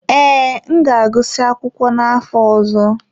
Ee, M ga-agụsị akwụkwọ n'afọ ọzọ.